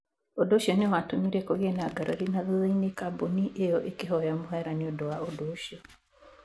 Ũndũ ũcio nĩ watũmire kũgĩe na ngarari, na thutha-inĩ kambuni ĩyo ĩkĩhoya mũhera nĩ ũndũ wa ũndũ ucio.